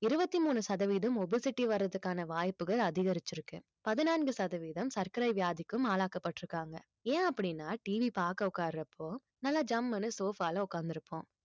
இருபத்தி மூணு சதவீதம் obesity வர்றதுக்கான வாய்ப்புகள் அதிகரிச்சிருக்கு பதினான்கு சதவீதம் சர்க்கரை வியாதிக்கும் ஆளாக்கப்பட்டுருக்காங்க ஏன் அப்படீன்னா TV பார்க்க உட்காரப்போ நல்லா ஜம்முன்னு sofa ல உட்கார்ந்து இருப்போம்